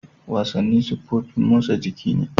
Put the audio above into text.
Wasanni siffofin motsan jiki ne.